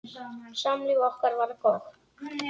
Samlíf okkar var gott.